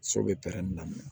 So bɛ pɛrɛnni na